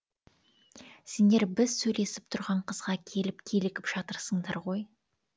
сендер біз сөйлесіп тұрған қызға келіп килігіп жатырсыңдар ғой